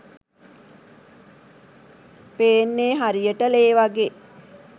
පේන්නේ හරියට ‍ලේ වගේ